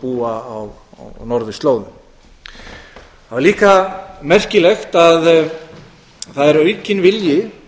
búa á norðurslóðum það var líka merkilegt að það er aukinn vilji